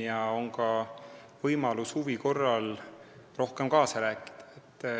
ja huvi korral on tal võimalik rohkem kaasa rääkida.